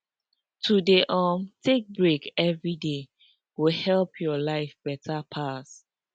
to dey um take break everyday go help your life better pass